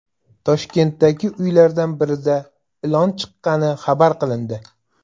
Toshkentdagi uylardan birida ilon chiqqani xabar qilindi.